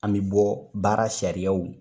An bɛ bɔ baara sariyaw